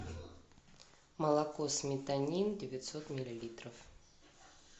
молоко сметанин девятьсот миллилитров